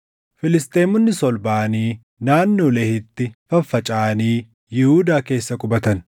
Filisxeemonnis ol baʼanii naannoo Lehiitti faffacaʼanii Yihuudaa keessa qubatan.